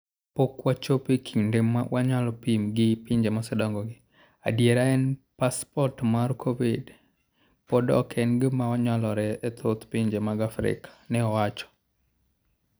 Ka pok wachopo e kinde ma wanyalo pim gi pinje mosedongogi, adiera en ni, Passport mar Covid pod ok en gima nyalore ne thoth pinje mag Afrika", ne owacho.